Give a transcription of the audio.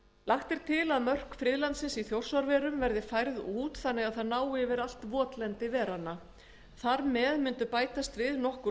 lagt er til að mörk friðlandsins í þjórsárverum verði færð út þannig að það nái yfir allt votlendi veranna þar með myndu bætast við nokkur